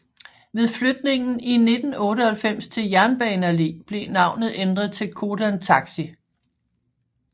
Ved flytningen i 1998 til Jernbane Allé blev navnet ændret til Codan Taxi